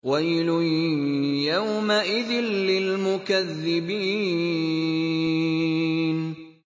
وَيْلٌ يَوْمَئِذٍ لِّلْمُكَذِّبِينَ